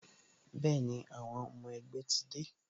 Bẹẹni, àwọn ọmọ ẹgbẹ́ ti dé